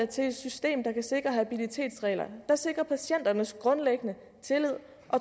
til et system der kan sikre habilitetsreglerne der sikrer patienternes grundlæggende